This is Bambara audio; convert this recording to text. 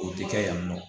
O tɛ kɛ yan nɔ